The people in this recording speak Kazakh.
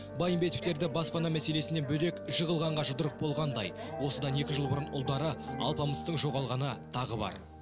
байымбетовтерде баспана мәселесінен бөлек жығылғанға жұдырық болғандай осыдан екі жыл бұрын ұлдары алпамыстың жоғалғаны тағы бар